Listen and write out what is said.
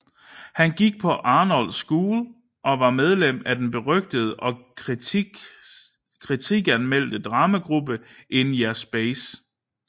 Han gik på Arnold School og var medlem af den berygtede og kritiskanmeldte dramagruppe In Yer Space